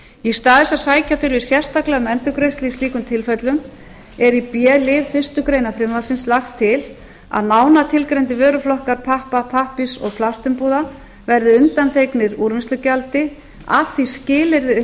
í stað þess að sækja fyrir sérstaklega um endurgreiðslu í slíkum tilfellum er í b lið fyrstu grein frumvarpsins lagt til að nánar tilgreindir vöruflokkar pappa pappírs og plastumbúða verði undanþegnir úrvinnslugjaldi að því skilyrði